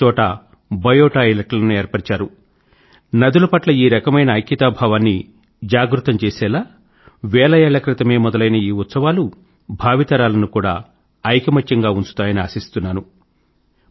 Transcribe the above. ప్రతిచోటా బయో టాయిలెట్లను ఏర్పరిచారు నదుల పట్ల ఈ రకమైన ఐక్యతా భావాన్ని జాగృతం చేసేలా వేల ఏళ్ల క్రితమే మొదలైన ఈ ఉత్సవాలు భావితరాలను కూడా ఐకమత్యంగా ఉంచుతాయని ఆశిస్తున్నాను